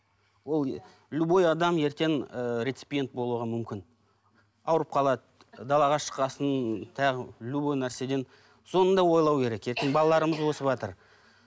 ол любой адам ертең ыыы рецепиент болуға мүмкін ауырып қалады далаға шыққан соң тағы любой нәрседен соны да ойлау керек ертең балаларымыз өсіватыр